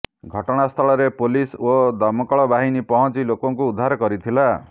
ଘଟଣାସ୍ଥଳରେ ପୋଲିସ୍ ଓ ଦମକଳବାହୀନି ପହଞ୍ଚି ଲୋକଙ୍କୁ ଉଦ୍ଧାର କରିଥିଲା